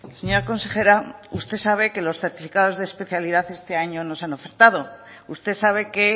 señora consejera usted sabe que los certificados de especialidad este año no se han ofertado usted sabe que